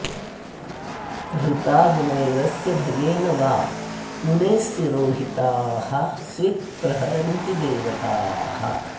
हृता गुणैरस्य भयेन वा मुनेस्तिरोहिताः स्वित् प्रहरन्ति देवताः